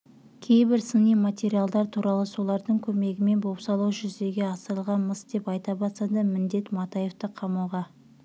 кейбір сыни материалдар туралы солардың көмегімен бопсалау жүзеге асырылған-мыс деп айта бастады міндет матаевты қамауға